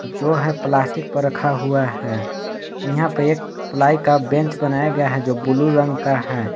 जो है प्लास्टिक पर रखा हुआ है यहां पे एक प्लाई का बेंच बनाया गया है जो ब्लू रंग का है।